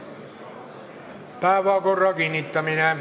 Päevakorra kinnitamine.